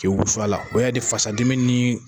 Ke u fa la . O ya ni fasa dimi ni